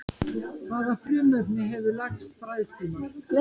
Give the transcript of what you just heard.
Hvaða frumefni hefur lægsta bræðslumark?